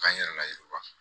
K'an yɛrɛ layiriwa